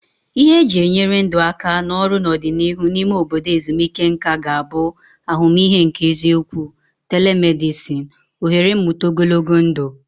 Ihe eji enyere ndụ aka na ọrụ n'ọdịnihu n'ime obodo ezumike nka ga-abụ ahụmịhe nke eziokwu, telemedicine, ohere mmụta ogologo ndụ.